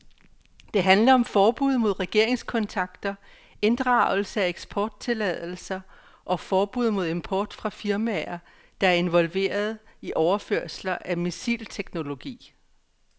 Det handler om forbud mod regeringskontakter, inddragelse af eksporttilladelser og forbud mod import fra firmaer, der er involveret i overførelser af missilteknologi.